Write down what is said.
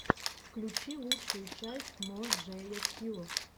включи лучшую часть мо джея стью